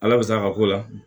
Ala bɛ sa ka ko la